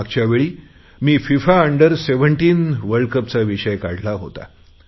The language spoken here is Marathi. मागच्यावेळी मी फिफा अंडर सेव्हनटीन वर्ल्ड कपचा विषय काढला होता